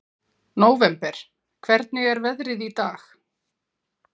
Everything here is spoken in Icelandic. Nóvember, hvernig er veðrið í dag?